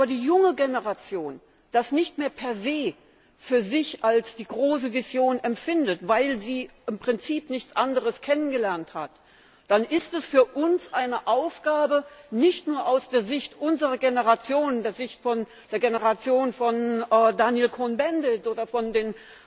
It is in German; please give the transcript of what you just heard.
Wenn aber die junge Generation das nicht mehr per se für sich als die große Vision empfindet, weil sie im Prinzip nichts anderes kennengelernt hat, dann ist es für uns eine Aufgabe, nicht nur aus der Sicht unserer Generation, der Sicht der Generation von Daniel Cohn Bendit oder von den